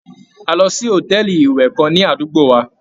A lọ sí hòtẹ́ẹ̀lì ìwẹ̀ kan ní àdúgbò wa.